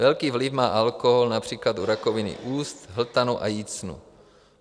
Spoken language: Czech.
Velký vliv má alkohol například u rakoviny úst, hltanu a jícnu.